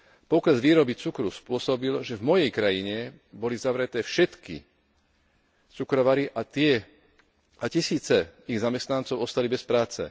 Pokles výroby cukru spôsobil, že v mojej krajine boli zavreté všetky cukrovary a tisíce ich zamestnancov ostali bez práce.